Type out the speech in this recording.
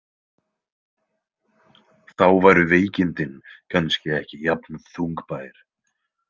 Þá væru veikindin kannski ekki jafn þungbær.